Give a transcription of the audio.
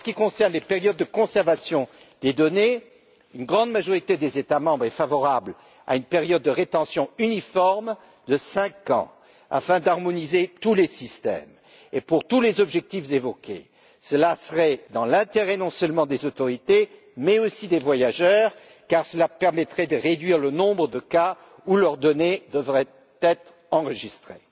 Pour les périodes de conservation des données, une grande majorité des États membres est favorable à une période de rétention uniforme de cinq ans, afin d'harmoniser tous les systèmes et pour tous les objectifs évoqués cela serait dans l'intérêt non seulement des autorités, mais aussi des voyageurs, car cela permettrait de réduire le nombre de cas où leurs données devraient être enregistrées.